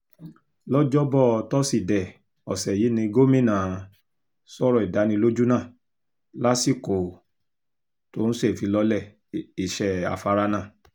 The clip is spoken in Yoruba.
lọ́jọ́bọ́ tọ́sídẹ̀ẹ́ ọ̀sẹ̀ yìí ni gómìnà um sọ̀rọ̀ ìdánilójú náà lásìkò um tó ń ṣèfilọ́lẹ̀ iṣẹ́ afárá náà